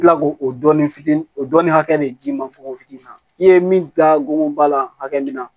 I bi kila k'o dɔɔnin fitini o dɔɔnin hakɛ de d'i ma fokofitini na i ye min da go la hakɛ min na